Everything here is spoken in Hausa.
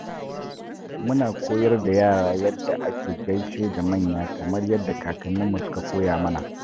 Muna koyar da yara yadda ake gaishe da manya kamar yadda kakanninmu suka koya mana.